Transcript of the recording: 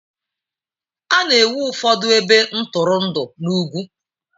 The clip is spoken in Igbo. A na-ewu ụfọdụ ebe ntụrụndụ n'ugwu.